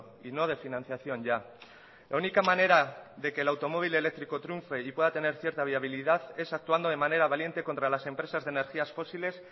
y no de financiación ya la única manera de que el automóvil eléctrico triunfe y pueda tener cierta viabilidad es actuando de manera valiente contra las empresas de energías fósiles